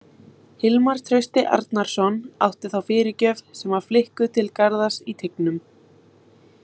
Hilmar Trausti Arnarsson átti þá fyrirgjöf sem var flikkuð til Garðars í teignum.